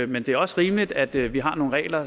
men det er også rimeligt at vi vi har nogle regler